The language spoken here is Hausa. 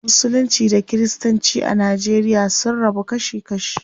Musulunci da kiristanci a nigeria sun rabu kashi kashi.